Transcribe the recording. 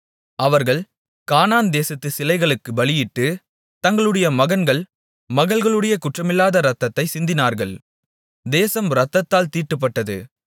அவர்கள் கானான் தேசத்து சிலைகளுக்கு பலியிட்டு தங்களுடைய மகன்கள் மகள்களுடைய குற்றமில்லாத இரத்தத்தைச் சிந்தினார்கள் தேசம் இரத்தத்தால் தீட்டுப்பட்டது